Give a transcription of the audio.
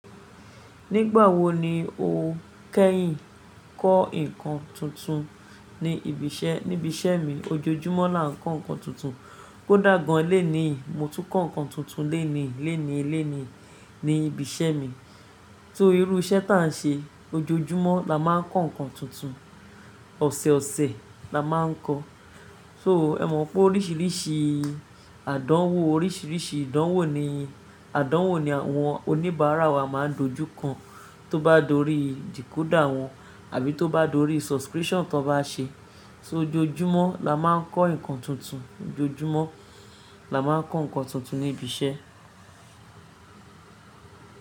Nígbà wo ni o kẹ́yìn ń kọ́ nǹkan tuntun ní ibi iṣẹ́, níbi iṣẹ́ mi? Ojoojúmọ́ là ń kọ́ nǹkan tuntun. Kó dàgbà gan léèní, mo tún kọ́ nǹkan tuntun léèní léèní léèní ní ibi iṣẹ́ mi. Só irú iṣẹ́ tá n ṣe, ojoojúmọ́ là má ń kọ́ nǹkan tuntun. Ọ̀sẹẹ̀ ọ̀sẹẹ̀ là má ń kọ́. So, ẹ mọ̀ pé oríṣiríṣi àdánwò, oríṣiríṣi ìdánwò ni àwọn oníbàárà wa má ń dojú kan. Tó bá dorí decoder wọn àbí tó bá dorí subscription tó bá ṣe. So ojoojúmọ́ là má ń kọ́ nǹkan tuntun. Ojoojúmọ́ là má ń kọ́ nǹkan tuntun ní ibi iṣẹ́.